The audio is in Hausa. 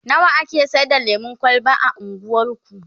nawa ake Saida lemun kwalba a unguwarku?